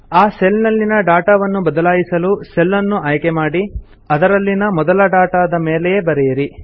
ಆ ಸೆಲ್ ನಲ್ಲಿನ ಡಾಟಾವನ್ನು ಬದಲಾಯಿಸಲು ಸೆಲ್ ನ್ನು ಆಯ್ಕೆ ಮಾಡಿ ಅದರಲ್ಲಿನ ಮೊದಲ ಡಾಟಾದ ಮೇಲೆಯೇ ಬರೆಯಿರಿ